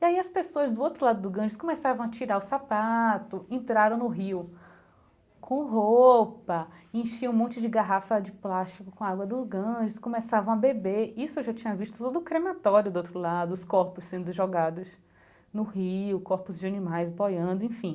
E aí as pessoas do outro lado do Ganges começavam a tirar o sapato, entraram no rio com roupa, enchiam um monte de garrafa de plástico com água do Ganges, começavam a beber, isso eu já tinha visto todo o crematório do outro lado, os corpos sendo jogados no rio, corpos de animais boiando, enfim.